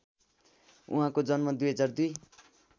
उहाँको जन्म २००२